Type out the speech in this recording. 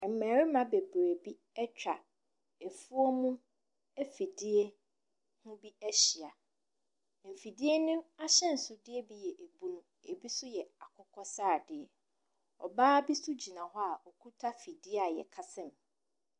Mmarima bebree bi atwa afuom afidie ho bi ahyia. Afidie no ahyɛnsodeɛ bi yɛ ɛbunu ɛbi nso yɛ akokɔsradeɛ, ɔbaa bi nso gyina hɔ ɔkita afidie a yɛkasa mu.